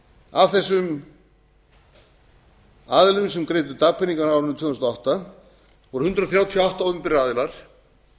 af þessum aðilum sem greiddu dagpeningana á árinu tvö þúsund og átta voru hundrað þrjátíu og átta opinberir aðilar